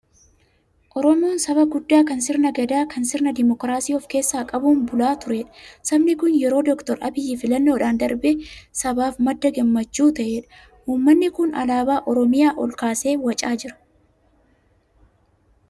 Oromoon saba guddaa kan sirna gadaa kan sirna dimookiraasii of keessaa qabuun bulaa turedha. Sabni kun yeroo Dookter Abiyyi filannoodhaan darbee sabaaf madda gammachuu ta'edha. Uummanni kun alaabaa Oromiyaa ol kaasee wacaa jira.